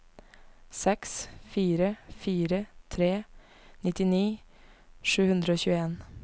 seks fire fire tre trettini sju hundre og tjueen